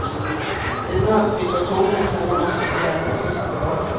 Vid nödsituationer kan de också få hjälp av kustbevakningen.